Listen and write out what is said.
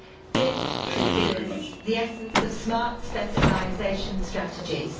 This should be the essence of smart specialisation strategies.